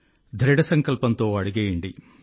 దృఢ సంకల్పంతో అడుగేయండి